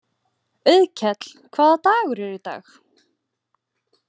Auðkell, hvaða dagur er í dag?